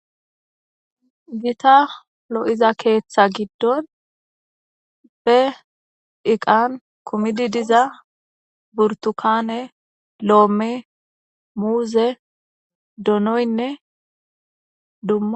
gita lo7iza keeththa giddon be iqan kumidi diza burtukane lo7ome muuze doonoynne da